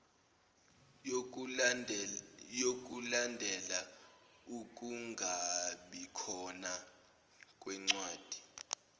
yokulandela ukungabikhona kwencwadi